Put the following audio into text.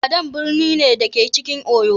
Ibadan birni ne, da ke cikin Oyo.